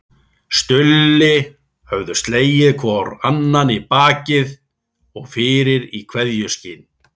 Stulli höfðu slegið hvor annan í bak og fyrir í kveðjuskyni.